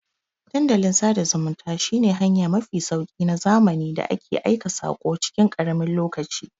Dandalin sada zumunta shi ne hanya mafi sauki na zamani da ake aika sako cikin karamin lokaci